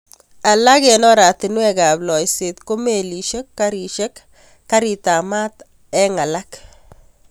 Alak eng oratinweekab loiseet ko melisyek, garisyek, gariitab ,maat eng alak.